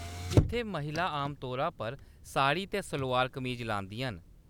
इत्थै, महिलां आमतौरा पर साड़ी ते सलोआर-कमीच लांदियां न।